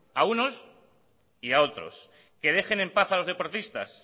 a unos y a otros que dejen en paz a los deportistas